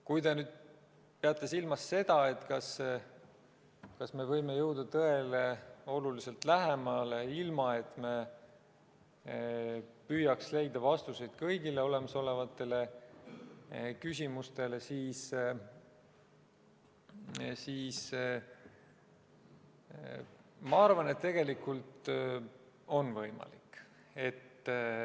Kui te peate silmas seda, kas me võime jõuda tõele oluliselt lähemale, ilma et me püüaksime leida vastuseid kõigile olemasolevatele küsimustele, siis ma arvan, et tegelikult see on võimalik.